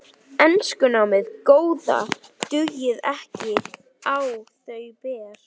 Enskunámið góða dugði ekki á þau ber.